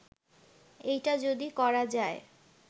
এইটা যদি করা যায়